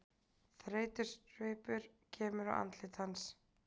Þreytusvipur kemur á andlit hans.